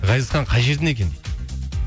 ғазизхан қай жерден екен дейді